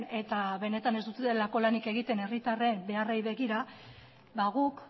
eta benetan ez dutelako lanik egiten herritarren beharrei begira ba guk